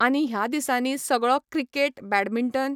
आनी ह्या दिसांनी सगळो क्रिकेट बेडमिंटन